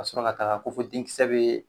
Kasɔrɔ ka taga ko fo den kisɛ bee